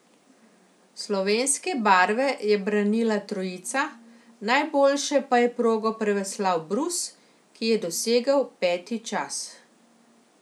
Slovenske barve je branila trojica, najboljše pa je progo preveslal Brus, ki je dosegel peti čas.